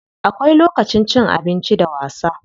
Akwai lokacin cin abinci da wasa.